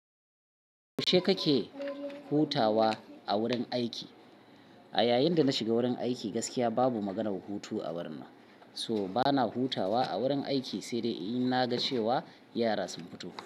Yaushe kake hutawa a wurin aiki? A yayin da na shiga wurin aiki gaskiya babu maganar hutu a wurin nan. So bana hutawa a wurin aiki, sai dai in na ga cewa yara sun fito.